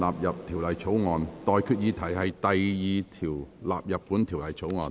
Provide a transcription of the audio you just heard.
我現在向各位提出的待決議題是：第2條納入本條例草案。